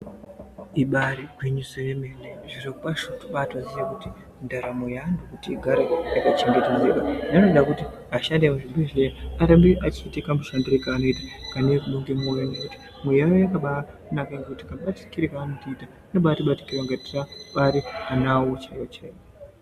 Ibari gwinyiso remene zviro kwazvo tombaitozive kuti ndaramo yevantukuti igare yakachengetedzeka inoda kuti ashandi emuzvibhedhlera arambe achiita kamushandiro kaanoita Kane rudo ne moyo nekti mwoyo yavo yakabanaka kamubatikire kaanotiitira anotibatikira kunge tiri anawa awo chaiwo chaiwo.